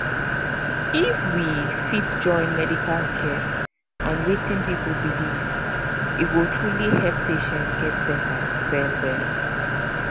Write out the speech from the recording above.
if we fit join medical care and wetin people believe e go truly help patients get better well well